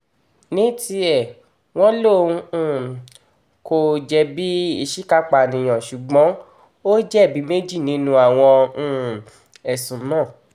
ní tiẹ̀ wọ́n lóun um kò jẹ̀bi ìṣìkàpànìyàn ṣùgbọ́n ó jẹ̀bi méjì nínú àwọn um ẹ̀sùn náà